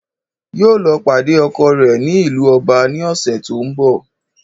Yóò lọ pàdé ọkọ rẹ ní ìlú Ọba ní òsè tó n bò